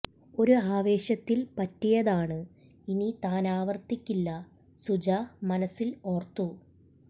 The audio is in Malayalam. ഒരു ആവേശത്തിൽ പറ്റിയതാണ് ഇനി താൻ അവർത്തിക്കില്ല സുജ മനസ്സിൽ ഓർത്തു